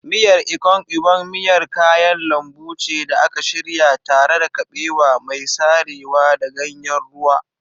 Miyan Ikong Ubong miyar kayan lambu ce da aka shirya tare da kabewa mai sarewa da ganyen ruwa.